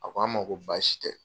A ko an ma ko baasi tɛ.